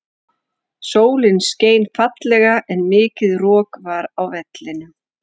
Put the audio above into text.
Sólin skein fallega en mikið rok var á vellinum.